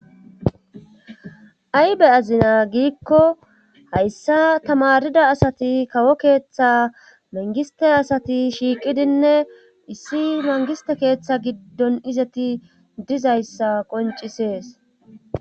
aybe azina giikko hayssa tamarida asati kawo keeththa mangiste asati shiiqidinne issi mangiste keeththa giddon izeti dizayssa qoncisees